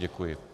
Děkuji.